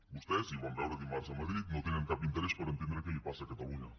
vostès i ho vam veure dimarts a madrid no tenen cap interès per entendre què li passa a catalunya